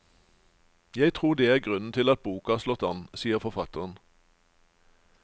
Jeg tror det er grunnen til at boka har slått an, sier forfatteren.